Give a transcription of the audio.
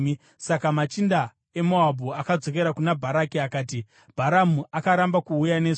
Saka machinda eMoabhu akadzokera kuna Bharaki akati, “Bharamu akaramba kuuya nesu.”